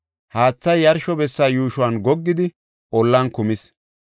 Haathay yarsho bessa yuushuwan goggidi, ollan kumis.